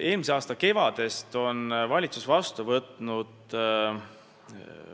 Eelmise aasta kevadel võttis valitsus vastu